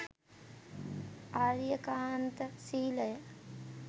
ආර්යකාන්ත ශීලය